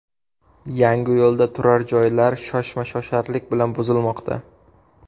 Yangiyo‘lda turar joylar shoshma-shosharlik bilan buzilmoqda.